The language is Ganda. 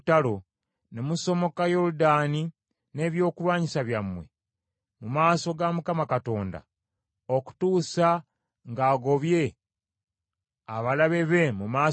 ne musomoka Yoludaani n’ebyokulwanyisa byammwe mu maaso ga Mukama Katonda, okutuusa ng’agobye abalabe be mu maaso ge,